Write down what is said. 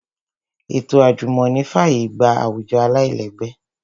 Ètò àjùmọ̀ní fàyè gba àwùjọ aláìlẹ́gbẹ́